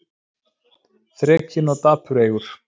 Þrekinn og dapureygur.